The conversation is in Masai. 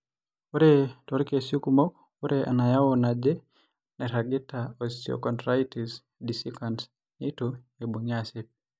Ore toorkesii kumok, ore enayau naje nairagita eosteochondritis dissecans neitu eibung'i aasip.